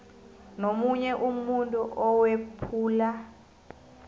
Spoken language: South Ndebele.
nomunye umuntu owephula